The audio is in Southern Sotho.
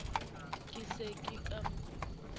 ke se ke ka mo